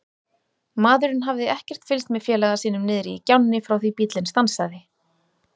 Maðurinn hafði ekkert fylgst með félaga sínum niðri í gjánni frá því bíllinn stansaði.